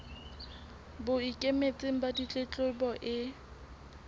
bo ikemetseng ba ditletlebo e